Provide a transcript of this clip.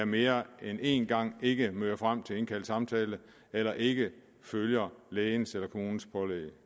mere end én gang ikke møder frem til indkaldt samtale eller ikke følger lægens eller kommunens pålæg